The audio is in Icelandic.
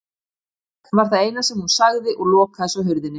Bless var það eina sem hún sagði og lokaði svo hurðinni.